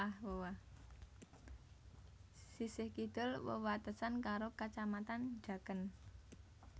Sisih kidul wewatesan karo Kacamatan Jaken